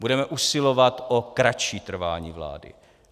Budeme usilovat o kratší trvání vlády.